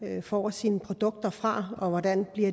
får sine produkter fra hvordan